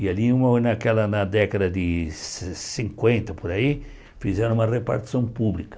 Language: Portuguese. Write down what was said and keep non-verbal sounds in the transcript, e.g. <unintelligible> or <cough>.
E ali <unintelligible> naquela década de ci cin cinquenta, por aí, fizeram uma repartição pública.